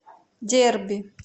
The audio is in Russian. дерби